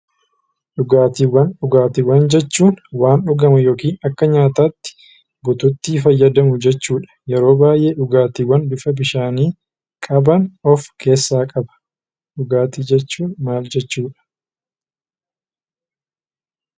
Dhugaatiiwwan jechuun waan dhugamu yookiin akka nyaataatti guutuutti fayyadamuu jechuudha. Yeroo baay'ee dhugaatiiwwan bifa bishaanii qaban of keessaa qaba. Dhugaatii jechuun maal jechuudha?